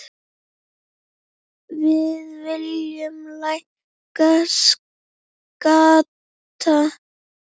Við viljum lækka skatta.